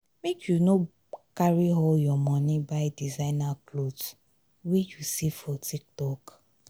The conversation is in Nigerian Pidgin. make you no carry all your moni buy designer cloth wey you see for tiktok.